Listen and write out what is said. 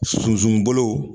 Sunsun bolo